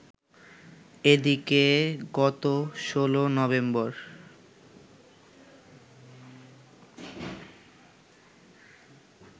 এদিকে গত ১৬ নভেম্বর